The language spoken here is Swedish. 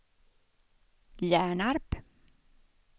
Hjärnarp